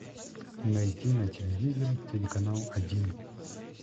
найти на телевизоре телеканал один